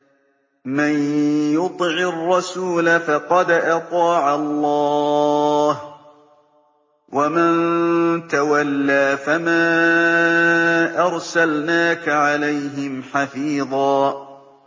مَّن يُطِعِ الرَّسُولَ فَقَدْ أَطَاعَ اللَّهَ ۖ وَمَن تَوَلَّىٰ فَمَا أَرْسَلْنَاكَ عَلَيْهِمْ حَفِيظًا